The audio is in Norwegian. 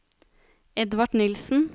Edvard Nilssen